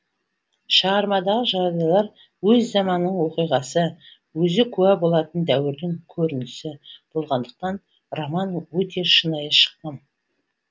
шығармадағы жағдайлар өз заманының оқиғасы өзі куә болатын дәуірдің көрінісі болғандықтан роман өте шынайы шыққан